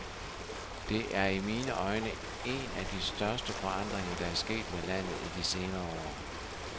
Det er i mine øjne en af de største forandringer, der er sket med landet i de senere år.